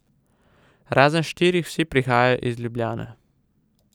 Razen štirih vsi prihajajo iz Ljubljane.